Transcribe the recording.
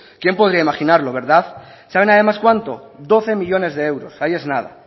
quién podría imaginarlo verdad saben además cuánto doce millónes de euros ahí es nada